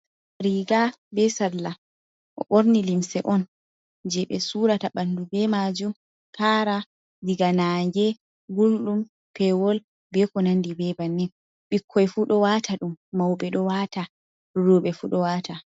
Riga be salla o ɓorni limse on je ɓe surata ɓandu be majum kara diga nage, gulɗum, pewol, be ko nandi be bannin. Ɓikkoi fu ɗo wata ɗum, mauɓe ɗo wata roɓe fu ɗo wata.